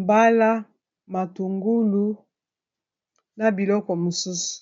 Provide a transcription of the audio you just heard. mbala, matungulu na biloko mosusu.